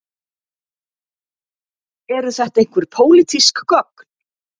Eru þetta einhver pólitísk gögn